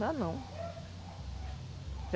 Dá não.